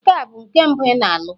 Nke a bụ nke mbụ ị na-alụ?